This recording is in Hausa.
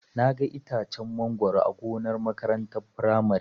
Naga itacen mangoro a gonar makarantar firamare.